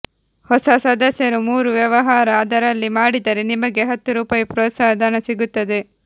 ಹೊಸ ಸದಸ್ಯರು ಮೂರು ವ್ಯವಹಾರ ಅದರಲ್ಲಿ ಮಾಡಿದರೆ ನಿಮಗೆ ಹತ್ತು ರುಪಾಯಿ ಪ್ರೋತ್ಸಾಹ ಧನ ಸಿಗುತ್ತದೆ